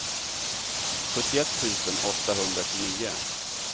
sjuttioett tusen åttahundratjugonio